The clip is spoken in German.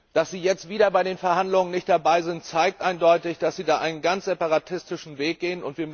Dass es jetzt wieder bei den Verhandlungen nicht dabei ist, zeigt eindeutig, dass es da einen ganz separatistischen Weg geht.